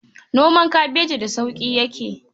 Noman kabeji da sauƙi yake..